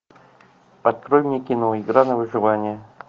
открой мне кино игра на выживание